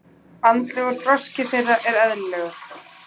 Andlegur þroski þeirra er eðlilegur.